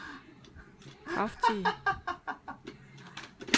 kraftige